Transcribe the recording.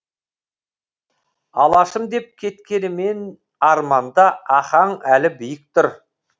алашым деп кеткенімен арманда ахаң әлі биік тұр